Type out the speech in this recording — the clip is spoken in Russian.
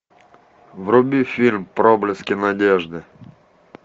вруби фильм проблески надежды